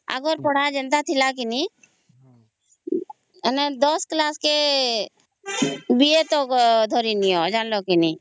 ଆଗ ର ପଢା ଯେନ୍ତା ଥିଲା କି ନାହିଁ ମାନେ ଦସ କ୍ଲାସ କେ ବି ଏ ତ ଧରି ନିଅ ଜାଣିଲ କେ ନାହିଁ